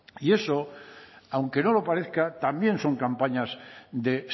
y eso aunque no lo parezca también son campañas de